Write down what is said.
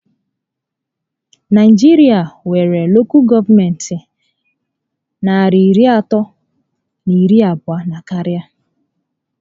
Naijiria nwéré Lokal gọọmenti narị iri atọ na iri abụọ na karịa